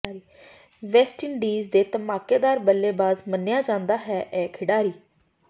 West Indies ਦੇ ਧਮਾਕੇਦਾਰ ਬੱਲੇਬਾਜ਼ ਮੰਨਿਆ ਜਾਂਦਾ ਹੈ ਇਹ ਖਿਡਾਰੀ